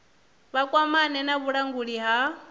vha kwamane na vhulanguli ha